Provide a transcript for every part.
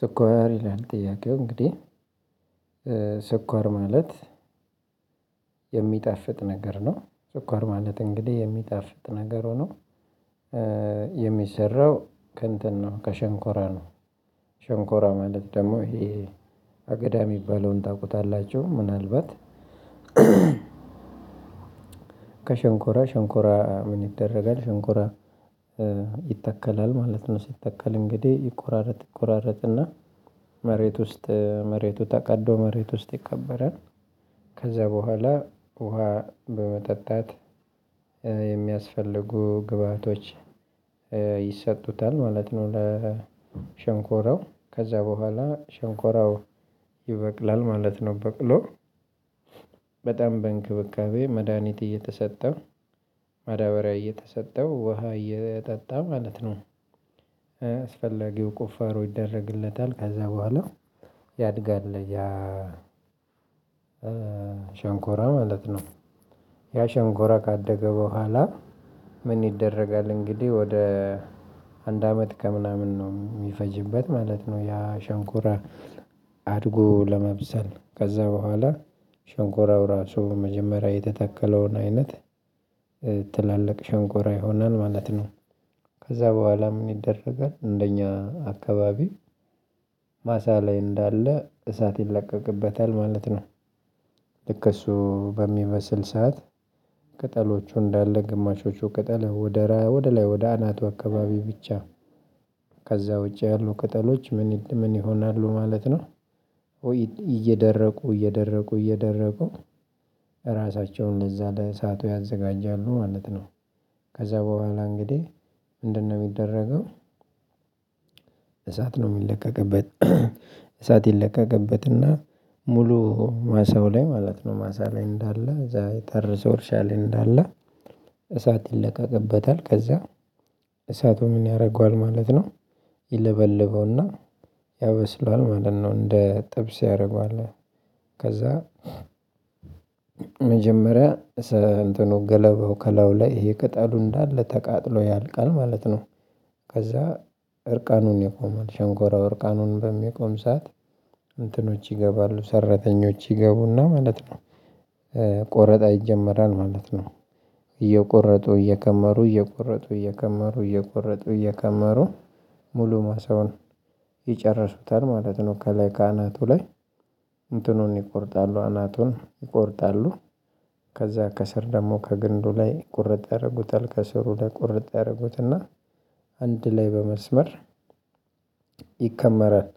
ስኳር ይላል ጥያቄው እንግዲህ ስኳር ማለት የሚጣፍጥ ነገር ነው። ስኳር ማለት እንግዲህ የሚጣፍጥ ነገር ሆኖ የሚሰራው ከእንትን ነው ከሸንኮራ ነው። ሸንኮራ ማለት ደግሞ ይሄ አገዳ የሚባለውን ታውቁታላችሁ? ምናልባት ከሸንኮራ ሸንኮራ ምን ይደረጋል ሸንኮራ ይተከላል ማለት ነው። ሲተከል እንግዲህ ይቆራረጥ ይቆራረጥና መሬት ውስጥ መሬቱ ተቀዶ መሬት ውስጥ ይከበራል። በኋላ ውሃ በመጠጣት የሚያስፈልጉ ግብአቶች ይሰጡታል ማለት ነው። ለሸንኮራው ከዛ በኋላ ሸንኮራው ይበቅላል ማለት ነው። በቅሎ በጣም በእንክብካቤ መድሃኒት እየተሰጠ ማዳበሪያ እየተሰጠው ውሃ እየጠጣ ማለት ነው። አስፈላጊው ቁፋሮ ይደረግለታል ከዛ በኋላ ያድጋል። ያ ሸንኮራ ማለት ነው። ያ ሸንኮራ ካደገ በኋላ ምን ይደረጋል? እንግዲህ ወደ አንድ አመት ከምናምን ነው የሚፈጅበት ማለት ነው። ያ ሸንኩራ አድጎ ለመብሰል ከዛ በኋላ ሸንኮራው ራሱ መጀመሪያ የተተከለውን አይነት ትላልቅ ሸንቆራ ይሆናል ማለት ነው። ከዛ በኋላ ምን ይደረጋል? እንደኛ አካባቢ ማሳ ላይ እንዳለ እሳት ይለቀቅበታል ማለት ነው። ልክ እሱ በሚመስል ሰዓት ቅጠሎቹ እንዳለ ግማሾቹ ቅጠል ወደ ወደ ላይ ወደ አናቱ አካባቢ ብቻ ከዛ ውጪ ያሉ ቅጠሎች ምን ምን ይሆናሉ ማለት ነው። እየደረቁ እየደረቁ እየደረቁ ራሳቸውን እዛ ለሳቱ ያዘጋጃሉ ማለት ነው። ከዛ በኋላ እንግዲህ ምንድነው የሚደረገው? እሳት ነው የሚለቀቀበት እሳት ይለቀቀበትና ሙሉ ማሳው ላይ ማለት ነው። ማሳ ላይ እንዳለ እዛ የታረሰው እርሻ እርሻ ላይ እንዳለ እሳት ይለቀቅበታል። ከዛ እሳቱ ምን ያደርገዋል ማለት ነው። ይለበልበውና ያበስሏል ማለት ነው። እንደ ጥብስ ያደርገዋል ከዛ መጀመሪያ እንትኑ ገለበው ከለው ላይ ይቅጠሉ እንዳለ ተቃጥሎ ያልቃል ማለት ነው። ከዛ እርቃኑን ይቆማል ሸንኮራው እርቃኑን በሚቆም ሰዓት እንትኖች ይገባሉ ሰራተኞች ይገቡና ማለት ቆረጣ ይጀመራል ማለት። ነው። እየቆረጡ እየከመሩ እየቆረጡ እየከመሩ እየቆረጡ እየከመሩ ሙሉ ማሰውን ይጨርሱታል ማለት ነው። ከላይ ካናቱ ላይ እንትኑን ይቆርጣሉ አናቱን ይቆርጣሉ ከዛ ከስር ደግሞ ከግንዱ ላይ ቁርጥ ያደርጉታል ከስሩ ለቁርጥ ያደርጉትና አንድ ላይ በመስመር ይከመራል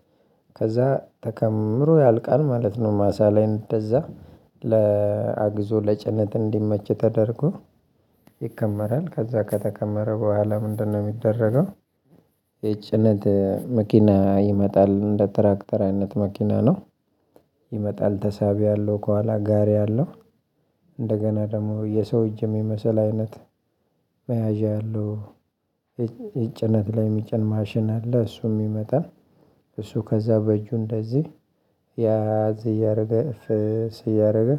ከዛ ተከምሮ ያልቃል ማለት ነው። ማሳ ላይ እንደዛ ለአግዞ ለጭነት እንዲመች ተደርጎ ይከመራል ከዛ ከተከመረ በኋላ ምንድነው እንደነው የሚደረገው? የጭነት መኪና ይመጣል እንደ ትራክተራይነት መኪና ነው። ይመጣል ተሳቢያለሁ ከኋላ ጋሪ አለው። እንደገና ደግሞ የሰው እጅ የሚመስል አይነት መያዣ ያለው የጭነት ላይ የሚጭን ማሽን አለ። እሱም ይመጣል እሱ ከዛ በእጁ እንደዚህ ያዝ እያደረገ እፍስ እያደረገ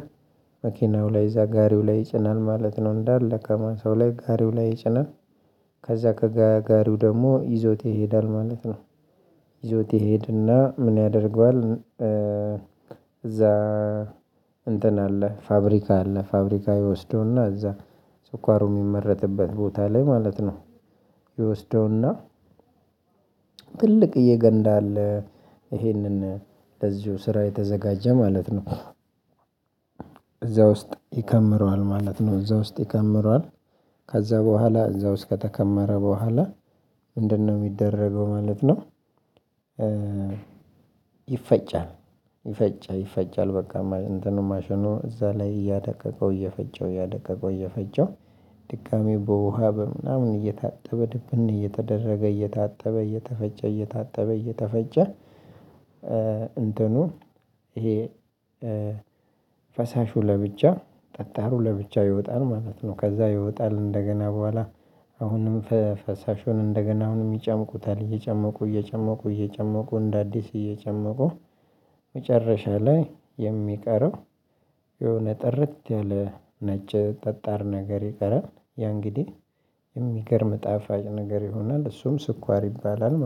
መኪናው ላይ እዛ ጋሪው ላይ ይጭናል ማለት ነው። እንዳለ ከማንሳው ላይ ጋሪው ላይ ይጭናል። ከዛ ከጋሪው ደግሞ ይዞት ይሄዳል ማለት ነው። ይዞት ይሄድና ምን ያደርገዋል? እዛ እንትን አለ ፋብሪካ አለ ፋብሪካ ይወስደውና እዛ ስኳሩ የሚመረጥበት ቦታ ላይ ማለት ነው። ይወስደውና ትልቅዬ ገንዳ አለ ይሄንን ለዚሁ ስራ የተዘጋጀ ማለት ነው። ውስጥ ይከምረዋል ማለት ነው እዛ ውስጥ ይከምረዋል። ከዛ በኋላ እዛ ውስጥ ከተከመረ በኋላ ምንድነው የሚደረገው ማለት ነው? ይፈጫል ይፈጫል ይፈጫል በቃ እንትኑ ማሽኖ እዛ ላይ እያደቀቀው እየፈጨው እያደቀቀው እየፈጨው ድጋሚው በውሃ በምናምን እየታጠበ ድብን እየተደረገ እየታጠበ እየተፈጨ እየታጠበ እየተፈጨ። እንትኑ ይሄ ፈሳሹ ለብቻ ጠጣሩ ለብቻ ይወጣል ማለት ነው። ከዛ ይወጣል እንደገና በኋላ አሁንም ፈሳሹን እንደገና አሁንም ይጨምቁታል እየጨመቁ እየጨመቁ እየጨመቁ እንደ አዲስ እየጨመቁ። ላይ የሚቀረው የሆነ ጥርት ያለ ነጭ ጠጣር ነገር ይቀራል ያ እንግዲህ የሚገርም ጣፋጭ ነገር ይሆናል። እሱም ስኳር ይባላል